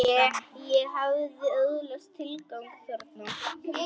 Ég hafði öðlast tilgang þarna.